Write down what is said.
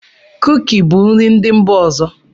Kuki bụ nri ndị mba ọzọ.